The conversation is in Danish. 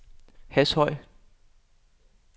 Hashøj